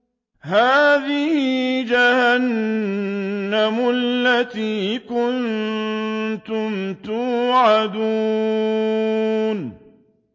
هَٰذِهِ جَهَنَّمُ الَّتِي كُنتُمْ تُوعَدُونَ